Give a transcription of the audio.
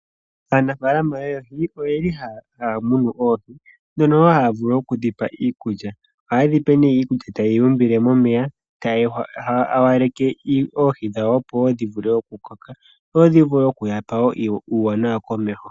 Aanafaalama yopaife oyeli haa munu oohi mono wo haa vulu oku dhi pa iikulya, ohaye dhi pe nee iikulya taye yi umbile momeya, taya hawaleke oohi dhawo opo wo dhi vule okukoka dho dhi vule okuya pa wo uuwanawa komeho.